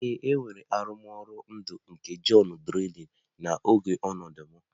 Ee, e nwere arụmọrụ ndụ nke Johnny drille n'oge ọnụnọ m